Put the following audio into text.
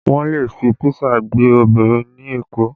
Wọn le fi písà gbé obìnrin ní Èkó